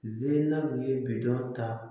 Zena ye bidɔn ta